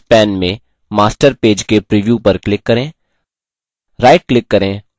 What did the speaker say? tasks pane में master page के preview पर click करें